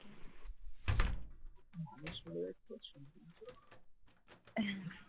মানুষ মরে যাচ্ছে আর সৌন্দর্য